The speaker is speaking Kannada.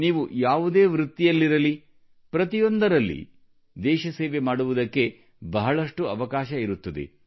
ನೀವು ಯಾವುದೇ ವೃತ್ತಿಯಲ್ಲಿರಲಿ ಪ್ರತಿಯೊಂದರಲ್ಲಿ ಸಹ ದೇಶ ಸೇವೆ ಮಾಡುವುದಕ್ಕೆ ಬಹಳಷ್ಟು ಅವಕಾಶ ಇರುತ್ತದೆ